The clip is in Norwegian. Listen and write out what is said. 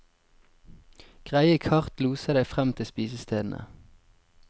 Greie kart loser deg frem til spisestedene.